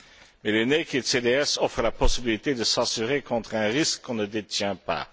Mais les offrent la possibilité de s'assurer contre un risque qu'on ne détient pas.